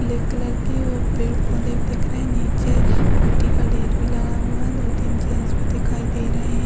Black colour की और पेड़-पौधे दिख रहे। नीचे मिट्टी का ढेर भी लगा हुआ है। दो-तीन जेंट्स भी दिखाई दे रहे हैं।